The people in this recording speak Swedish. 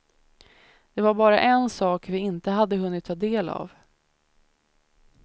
Det var bara en sak vi inte hade hunnit ta del av.